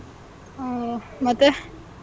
ಹ್ಮ್, ಮತ್ತೆ,